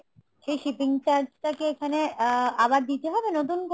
সেই shipping charge টাকি এখানে আ~ আবার দিতে হবে নতুন করে ?